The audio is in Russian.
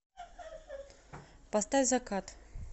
поставь закат